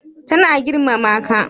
Ta na girmama ka?